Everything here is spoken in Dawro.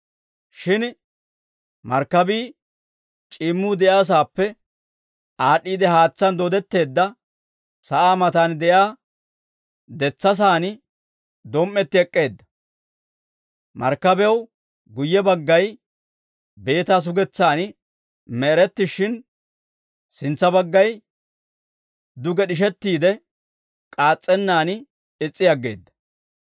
Shin markkabii c'iimmuu de'iyaasaappe aad'd'iide haatsaan dooddetteedda sa'aa matan de'iyaa detsasaan dom"etti ek'k'eedda; markkabiyaw guyye baggay beetaa sugetsaan me'erettishshin, sintsa baggay duge d'ishettiide, k'aas's'ennaan is's'i aggeedda.